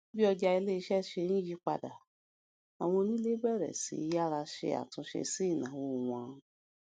bí ọjà ilé ṣe ń yí padà àwọn onílé bèrè sí í yára ṣe àtúnṣe sí ìnáwó wọn